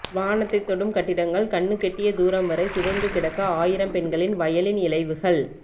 வானத்தைத் தொடும் கட்டிடங்கள் கண்ணுக்கெட்டிய தூரம் வரை சிதைந்து கிடக்க ஆயிரம் பெண்களின் வயலின் இழைவுகள்